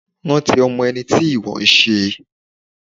Rántí ọmọ ẹni tí ìwọ n se